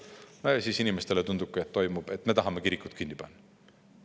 No ja siis inimestele tundub, et me tahame kirikut kinni panna.